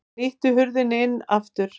Hann ýtti hurðinni inn aftur.